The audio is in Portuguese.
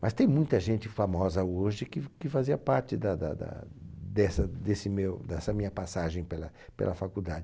Mas tem muita gente famosa hoje que f que fazia parte da da da dessa desse meu dessa minha passagem pela pela faculdade.